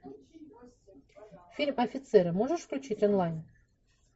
фильм офицеры можешь включить онлайн